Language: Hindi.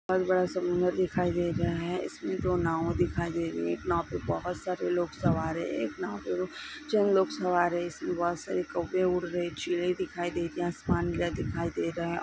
बहुत बड़ा समुन्दर दिखाई दे रहा है इसमे दो नाव दिखाई दे रही है एक नाव पे बहुत सारे लोग सवार है एक नाव पे चंद लोग सवार है इस में बहुत सारे कौवे उड़ रहे चीले दिखाई दे रही है आसमान दिखाई दे रहा है।